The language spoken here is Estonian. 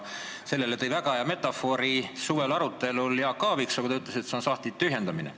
Sellest rääkides kasutas suvisel arutelul väga head metafoori Jaak Aaviksoo, kui ta ütles, et see on sahtlite tühjendamine.